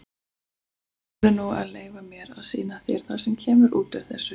Þú verður nú að leyfa mér að sýna þér það sem kemur út úr þessu.